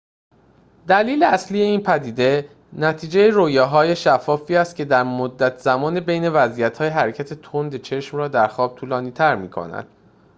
دلیل اصلی این پدیده نتیجه رویاهای شفافی است که مدت زمان بین وضعیت‌های حرکت تند چشم را در خواب طولانی‌تر می‌کند